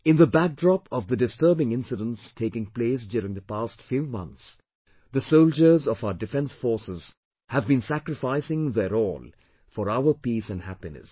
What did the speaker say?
In the backdrop of the disturbing incidents taking place during the past few months, the soldiers of our defence forces have been sacrificing their all for our peace and happiness